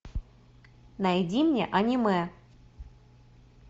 найди мне аниме